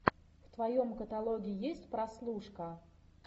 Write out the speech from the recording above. в твоем каталоге есть прослушка